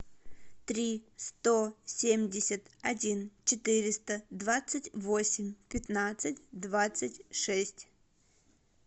три сто семьдесят один четыреста двадцать восемь пятнадцать двадцать шесть